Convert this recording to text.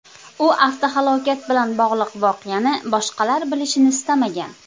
U avtohalokat bilan bog‘liq voqeani boshqalar bilishini istamagan.